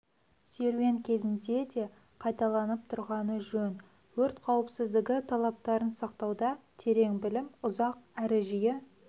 серуен кезінде де қайталанып тұрғаны жөн өрт қауіпсіздігі талаптарын сақтауда терең білім ұзақ әрі жиі